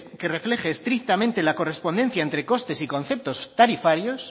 que refleje estrictamente la correspondencia entre costes y conceptos tarifarios